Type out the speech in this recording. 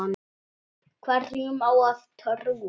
Hverjum á að trúa?